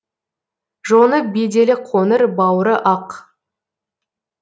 жоны беделі қоңыр бауыры ақ